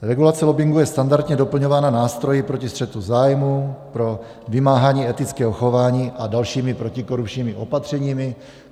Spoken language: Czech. Regulace lobbingu je standardně doplňována nástroji proti střetu zájmů, pro vymáhání etického chování a dalšími protikorupčními opatřeními.